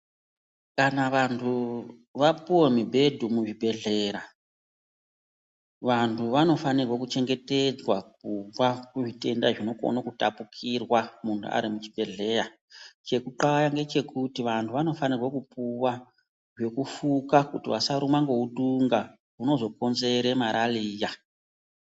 Kana vantu vapuwe mubhedhu muzvibhedhlera, vantu vanofanirwe kuchengetedzwa kubva kuzvitenda zvinokone kutapukirwa muntu arimuchibhedhleya. Chekutxaya ndechekuti vantu vanofanirwa kupuwa zvekufuka kuti vasarumwa ngeutunga unozokonzere marariya.